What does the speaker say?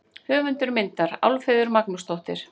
Höfundur myndar: Álfheiður Magnúsdóttir.